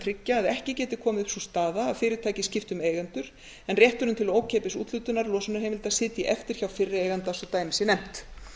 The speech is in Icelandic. tryggja að ekki geti komið upp sú staða að fyrirtækin skipti um eigendur en rétturinn til ókeypis úthlutunar losunarheimilda sitji eftir hjá fyrri eiganda svo dæmi sé nefnt